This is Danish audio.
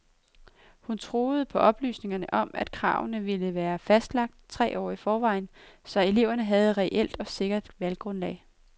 Hun troede på oplysningerne om, at kravene ville være fastlagt tre år i forvejen, så eleverne havde et reelt og sikkert valggrundlag.